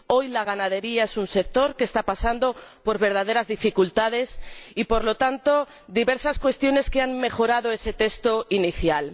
Hoy la ganadería es un sector que está pasando por verdaderas dificultades y, por lo tanto, diversas medidas han mejorado ese texto inicial.